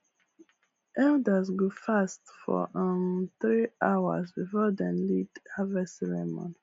elders go fast for um three hours before dem lead harvest ceremony